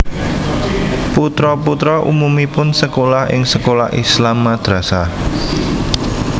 Putra putra umumipun sekolah ing sekolah Islam madrasah